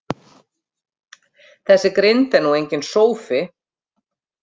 Þessi grind er nú enginn sófi.